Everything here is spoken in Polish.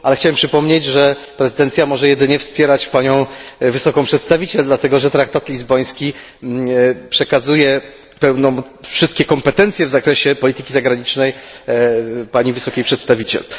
Chciałem jednak przypomnieć, że prezydencja może jedynie wspierać Wysoką Przedstawiciel, dlatego że traktat lizboński przekazuje wszystkie kompetencje w zakresie polityki zagranicznej Wysokiej Przedstawiciel.